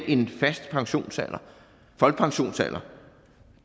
en fast folkepensionsalder